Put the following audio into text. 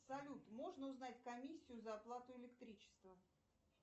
салют можно узнать комиссию за оплату электричества